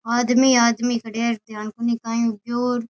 आदमी आदमी खड़े है ध्यान कोणी काई हुगो।